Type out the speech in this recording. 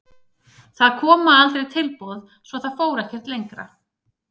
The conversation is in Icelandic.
Það koma aldrei tilboð svo það fór ekkert lengra.